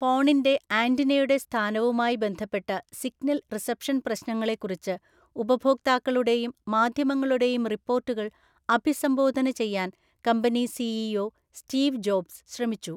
ഫോണിന്‍റെ ആന്റിനയുടെ സ്ഥാനവുമായി ബന്ധപ്പെട്ട സിഗ്നൽ റിസപ്ഷൻ പ്രശ്നങ്ങളെക്കുറിച്ച് ഉപഭോക്താക്കളുടെയും മാധ്യമങ്ങളുടെയും റിപ്പോർട്ടുകൾ അഭിസംബോധന ചെയ്യാൻ കമ്പനി സിഇഒ സ്റ്റീവ് ജോബ്സ് ശ്രമിച്ചു.